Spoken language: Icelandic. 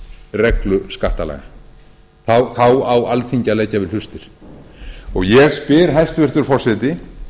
reglu skattalaga þá á alþingi að leggja við hlustir ég spyr hæstvirtur forseti